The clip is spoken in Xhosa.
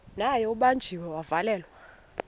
naye ubanjiwe wavalelwa